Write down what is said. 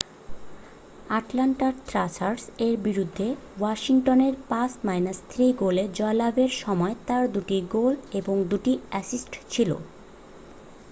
Atlanta Thrashers এর বিরুদ্ধে Washington এর 5-3 গোলে জয়লাভ এর সময় তার দু'টি গোল এবং দু'টি অ্যাসিস্ট ছিল